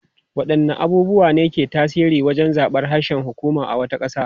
Wadanne abubuwa ne ke tasiri wajen zabar harshen hukuma a wata kasa?